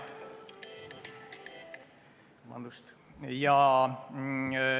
Vabandust!